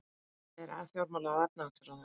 En hvað segir fjármála- og efnahagsráðherrann?